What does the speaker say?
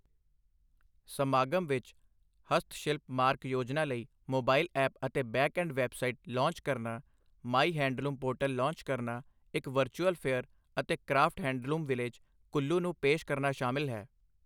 ਸਮਾਗਮ ਵਿੱਚ ਹਸਤਸ਼ਿਲਪ ਮਾਰਕ ਯੋਜਨਾ ਲਈ ਮੋਬਾਇਲ ਐਪ ਅਤੇ ਬੈਕ ਐਡ ਵੈੱਬਸਾਈਟ ਲਾਂਚ ਕਰਨਾ, ਮਾਈ ਹੈਂਡਲੂਮ ਪੋਰਟਲ ਲਾਂਚ ਕਰਨਾ, ਇੱਕ ਵਰਚੂਅਲ ਫੇਅਰ ਅਤੇ ਕਰਾਫਟ ਹੈਂਡਲੂਮ ਵਿਲੇਜ਼, ਕੁੱਲੂ ਨੂੰ ਪੇਸ਼ ਕਰਨਾ ਸ਼ਾਮਿਲ ਹੈ